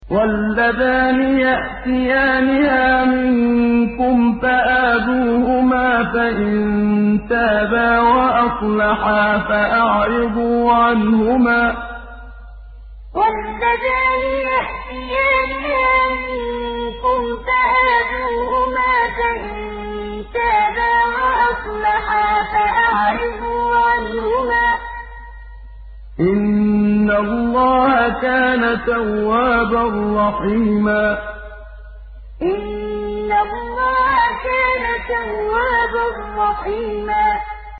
وَاللَّذَانِ يَأْتِيَانِهَا مِنكُمْ فَآذُوهُمَا ۖ فَإِن تَابَا وَأَصْلَحَا فَأَعْرِضُوا عَنْهُمَا ۗ إِنَّ اللَّهَ كَانَ تَوَّابًا رَّحِيمًا وَاللَّذَانِ يَأْتِيَانِهَا مِنكُمْ فَآذُوهُمَا ۖ فَإِن تَابَا وَأَصْلَحَا فَأَعْرِضُوا عَنْهُمَا ۗ إِنَّ اللَّهَ كَانَ تَوَّابًا رَّحِيمًا